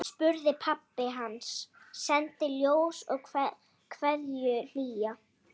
Sendi ljós og kveðju hlýja.